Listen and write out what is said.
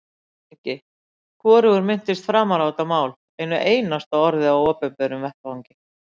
LANDSHÖFÐINGI: Hvorugur minnist framar á þetta mál einu einasta orði á opinberum vettvangi.